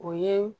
O ye